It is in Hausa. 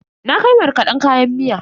Na kai markaden kayan miya.